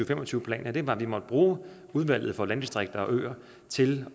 fem og tyve plan var at vi måtte bruge udvalget for landdistrikter og øer til